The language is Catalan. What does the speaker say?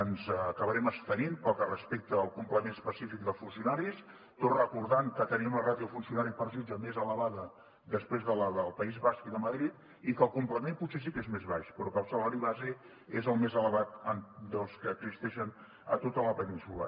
ens acabarem abstenint pel que respecta al complement específic dels funcionaris tot recordant que tenim la ràtio de funcionari per jutge més elevada després de la del país basc i de madrid i que el complement potser sí que és més baix però que el salari base és el més elevat dels que existeixen a tota la península